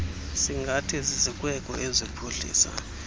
singathi zizikweko eziphuhlisa